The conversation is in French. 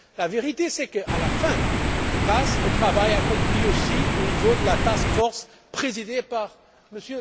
La vérité c'est qu'à la fin, grâce au travail accompli aussi au niveau de la task force présidée par M.